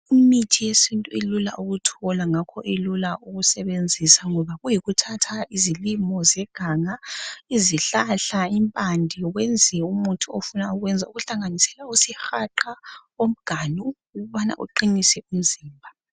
Imithi yesintu ilula ukuthola ngakho ilula ukusebenzisa ngoba kuyikuthatha izilimo zeganga izihlahla izimpande kwenziwe umuthi ofuna ukuwuyenza okuhlanisela isihaqa omganu ukubana uqinise umzimba